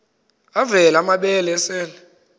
avela amabele esel